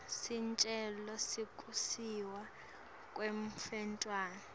sicelo sekusiswa kwemntfwana